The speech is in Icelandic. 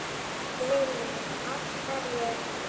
Lillý: Af hverju?